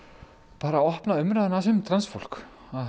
bara að opna umræðuna aðeins um transfólk